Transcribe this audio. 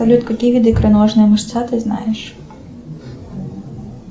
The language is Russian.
салют какие виды икроножная мышца ты знаешь